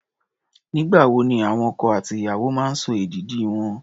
Nígbà wo ni àwọn ọkọ àti ìyàwó máa ń sọ èdìdì wọn?